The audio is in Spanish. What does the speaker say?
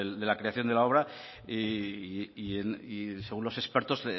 de la creación de la obra y según los expertos